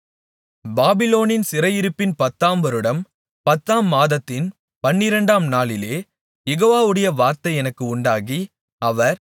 பாபிலோனின் சிறையிருப்பின் பத்தாம் வருடம் பத்தாம் மாதத்தின் பன்னிரண்டாம் நாளிலே யெகோவாவுடைய வார்த்தை எனக்கு உண்டாகி அவர்